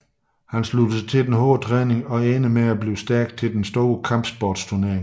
Han slutter sig til den hårde træning og ender med at blive stærk til den store kampsportsturnering